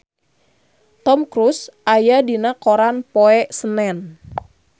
Tom Cruise aya dina koran poe Senen